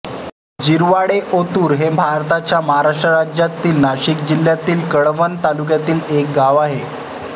जिरवाडेओतुर हे भारताच्या महाराष्ट्र राज्यातील नाशिक जिल्ह्यातील कळवण तालुक्यातील एक गाव आहे